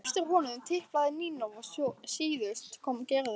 Á eftir honum tiplaði Nína og síðust kom Gerður.